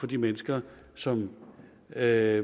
de mennesker som er